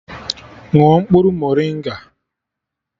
Ṅụọ mkpụrụ morịnga!